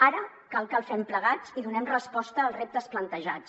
ara cal que el fem plegats i donem resposta als reptes plantejats